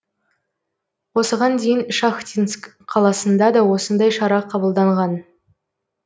осыған дейін шахтинск қаласында да осындай шара қабылданған